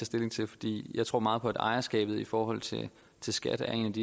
stilling til fordi jeg tror meget på at ejerskabet i forhold til til skat er et